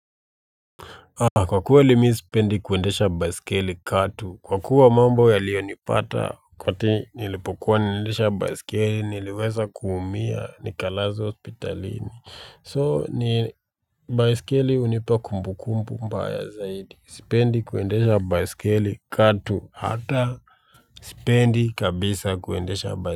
Kwa kweli mi sipendi kuendesha baiskeli kato kwa kuwa mambo yalionipata wakati nilipokuwa naendesha baiskeli niliweza kuumia nikalazwa hospitalini so ni baiskeli hunipa kumbukumbu mbaya zaidi sipendi kuendesha baiskeli katu hata spendi kabisa kuendesha baskele.